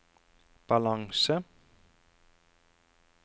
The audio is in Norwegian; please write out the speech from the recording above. balanse